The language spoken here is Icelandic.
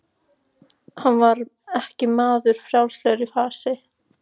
Hann var ekki maður frjálslegur í fasi.